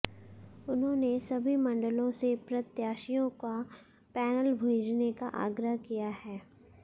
उन्होंने सभी मंडलों से प्रत्याशियों का पैनल भेजने का आग्रह किया है